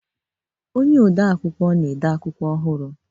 Onye ode akwụkwọ na-ede akwụkwọ ọhụrụ.